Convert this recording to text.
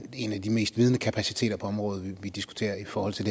en af de mest vidende kapaciteter på område vi diskuterer i forhold til